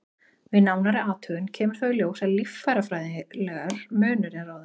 Við nánari athugun kemur þó í ljós að líffærafræðilegur munur er á þeim.